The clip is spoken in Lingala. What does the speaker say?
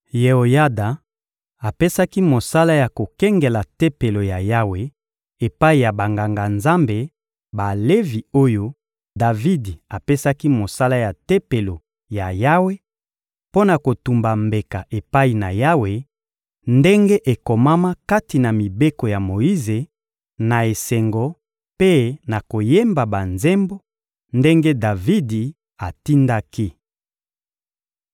Yeoyada apesaki mosala ya kokengela Tempelo ya Yawe epai ya Banganga-Nzambe Balevi oyo Davidi apesaki mosala ya Tempelo ya Yawe, mpo na kotumba mbeka epai na Yawe, ndenge ekomama kati na mibeko ya Moyize, na esengo mpe na koyemba banzembo, ndenge Davidi atindaki.